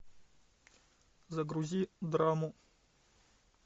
загрузи драму